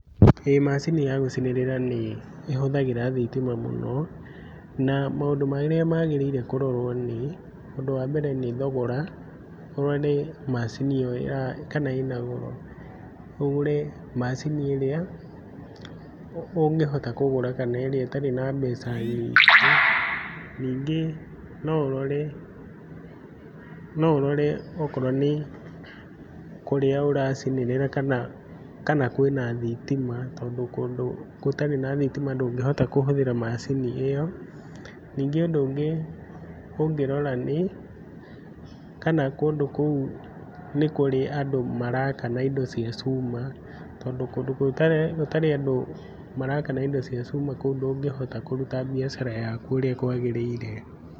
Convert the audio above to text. Macini ya gũcinĩrĩra nĩ ĩhũthagĩra thĩtima mũno, na maũndũ marĩa magĩrĩire kũrorwo, ũndũ wa mbere nĩ thogora macini iyo kana ĩna goro ũgũre macini ĩrĩa ũngĩhota kũgũra kana ĩrĩa ĩtarĩ na mbeca nyingĩ no ũrore ,no ũrore kũrĩa ũra cĩnĩrĩra kana kana kwĩna thitima tondũ kũndũ gũtarĩ na thitima ndũngĩhota kũhũthĩra macini ĩyo, ningĩ ũndũ ũngĩ ũngĩrora nĩ kana kũndũ kũu nĩkũrĩ andũ maraka na ĩndo cĩa cũma tondũ kũndũ gũtarĩ na andũ maraka na indo tondũ kũndũ kũ gũtarĩ na andũ maraka na indo chũma kũu ndũngihota kũrũta wĩra ũrĩa kũagĩrĩire.